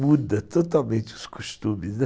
Muda totalmente os costumes, né.